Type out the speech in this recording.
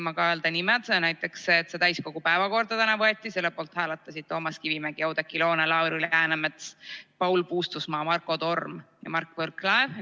Näiteks, selle poolt, et see eelnõu tänaseks täiskogu päevakorda võtta, hääletasid Toomas Kivimägi, Oudekki Loone, Lauri Läänemets, Paul Puustusmaa, Marko Torm ja Mart Võrklaev.